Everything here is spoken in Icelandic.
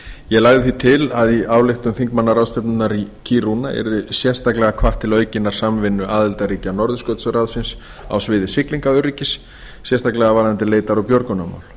ég lagði því til að í ályktun þingmannaráðstefnunnar í kiruna yrði sérstaklega hvatt til aukinnar samvinnu aðildarríkja norðurskautsráðsins á sviði siglingaöryggis sérstaklega varðandi leitar og björgunarmál